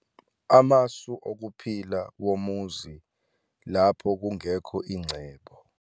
Amasu okuphila womuzi lapho kungekho ingcebo.